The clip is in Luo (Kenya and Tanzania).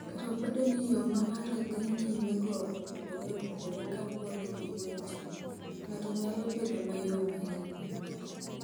"Kata obedo ni yo ma ng’ato dhi nyimego opogore opogore kaluwore gi weche, ng’ato nyalo bedo mayom ahinya."